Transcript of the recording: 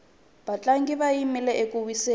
vatlangi va yile eku wiseni